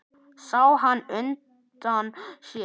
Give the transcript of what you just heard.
Sá hann útundan sér.